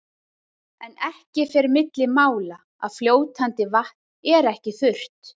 En ekki fer milli mála að fljótandi vatn er ekki þurrt.